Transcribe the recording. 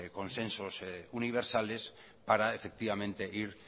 consensos universales para efectivamente ir